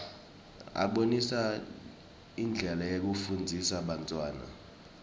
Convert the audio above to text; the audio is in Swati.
abonisa indlela yekufundzisa bantfwana